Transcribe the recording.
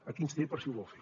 aquí ens té per si ho vol fer